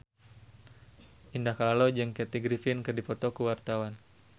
Indah Kalalo jeung Kathy Griffin keur dipoto ku wartawan